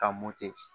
Ka